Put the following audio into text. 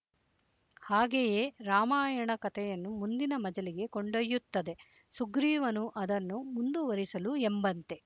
ಹಾಗೆಯೇ ರಾಮಾಯಣ ಕಥೆಯನ್ನು ಮುಂದಿನ ಮಜಲಿಗೆ ಕೊಂಡೊಯ್ಯುತ್ತದೆ ಸುಗ್ರಿವನು ಅದನ್ನು ಮುಂದುವರಿಸಲು ಎಂಬಂತೆ